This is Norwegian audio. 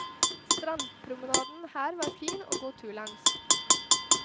Strandpromenaden her var fin å gå tur langs.